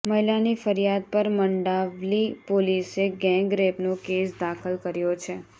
મહિલાની ફરિયાદ પર મંડાવલી પોલીસે ગેંગરેપનો કેસ દાખલ કર્યો છે